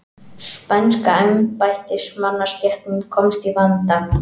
Spænska embættismannastéttin komst í vanda.